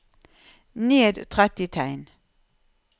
Ned tretti tegn